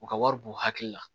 U ka wari b'u hakili la